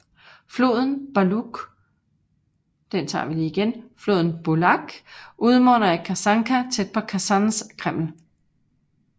Floden Bulak udmunder i Kasanka tæt på Kasans kreml